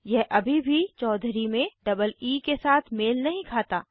यह अभी भी चौधुरी में डबल ई के साथ मेल नहीं खाता